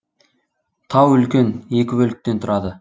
тау үлкен екі бөліктен тұрады